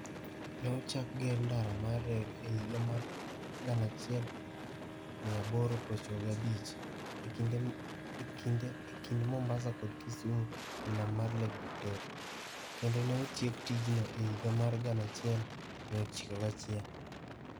Ne ochak gero ndara mar reru e higa mar 1895 e kind Mombasa kod Kisumu e nam mar Lake Victoria, kendo ne otiek tijno e higa mar 1901.